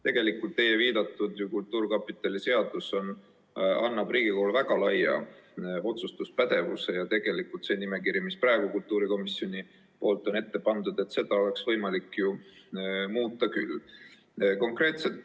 Tegelikult annab teie viidatud kultuurkapitali seadus Riigikogule väga laia otsustuspädevuse ja seda nimekirja, mille praegu kultuurikomisjon on ette pannud, oleks võimalik muuta küll.